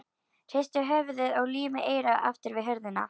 Hristir höfuðið og límir eyrað aftur við hurðina.